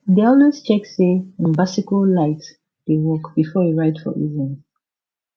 e dey always check say him bicycle light dey work before e ride for evening